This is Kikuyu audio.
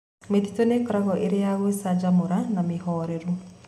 Mĩtitũ nĩĩkoragwo ĩrĩ ya gũcanjamũra na mĩhoreru.